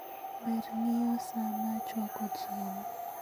Ber ng'iyo saa mar chwako chiemo